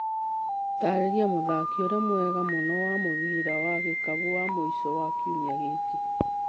Taarĩria mũthaki ũrĩa mwega mũno wa mũbira wa gĩkabũ wa mũico wa kiumia gĩkĩ.